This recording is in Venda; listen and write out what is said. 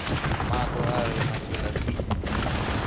mato a re mangilasini i